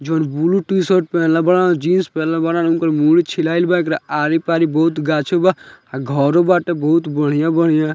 जोवन blue T-shirt पेहेनले बाड़न जीन्स पेहेनले बाड़न उनकर मुछ छिलाइल बा एकरा आरी पारी बहुत गाछ बा आ घरो बाटे बहुत बढ़ियां-बढ़ियां ।